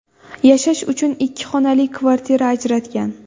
Yashash uchun ikki xonali kvartira ajratgan.